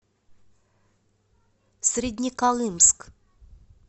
среднеколымск